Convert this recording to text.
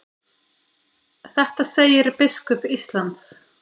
Þetta segir biskup Íslands.